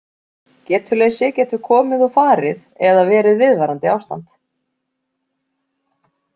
Getuleysi getur komið og farið eða verið viðvarandi ástand.